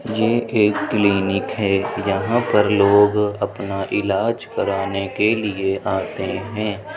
ये एक क्लिनिक है। यहाँ पर लोग अपना इलाज कराने के लिए आते हैं।